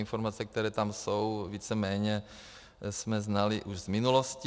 Informace, které tam jsou, víceméně jsme znali už z minulosti.